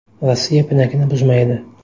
Rossiya pinagini buzmaydi.